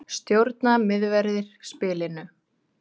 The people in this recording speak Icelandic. Stjórna miðverðir spilinu